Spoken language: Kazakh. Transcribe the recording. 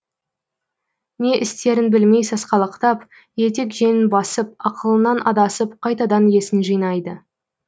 не істерін білмей сасқалақтап етек жеңін басып ақылынан адасып қайтадан есін жинайды